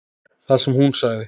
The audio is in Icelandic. Það sem hún sagði